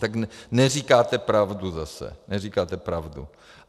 Tak neříkáte pravdu zase, neříkáte pravdu.